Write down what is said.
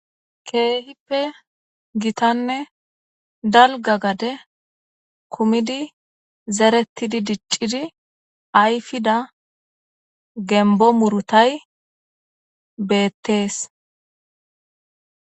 Keehippe gitanne dalga gade kumidi zeretidi diccidi ayfida gembo murutay beettees.